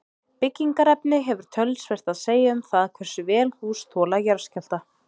Byggingarefni hefur töluvert að segja um það hversu vel hús þola jarðskjálfta.